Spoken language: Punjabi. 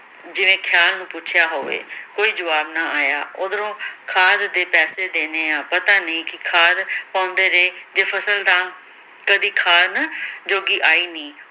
ਜਿਵੇਂ ਖਿਆਲ ਨੂੰ ਪੁੱਛਿਆ ਹੋਵੇ, ਕੋਈ ਜਵਾਬ ਨਾ ਆਇਆ ਓਧਰੋਂ ਖਾਦ ਦੇ ਪੈਸੇ ਦੇਣੇ ਆ ਪਤਨੀ ਨੀ ਕਿ ਖਾਦ ਪਾਉਂਦੇ ਰਹੇ ਜੇ ਫਸਲ ਤਾਂ ਤੁਹਾਡੀ ਖਾਣ ਜੋਗੀ ਆਈ ਨੀ